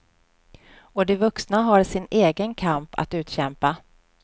Och de vuxna har sin egen kamp att utkämpa.